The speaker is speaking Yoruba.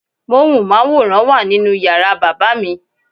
Móhùnmáwòrán wà nínú yàrá bàbá mi.